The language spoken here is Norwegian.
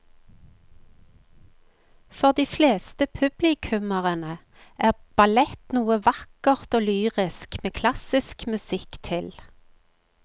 For de fleste publikummere er ballett noe vakkert og lyrisk med klassisk musikk til.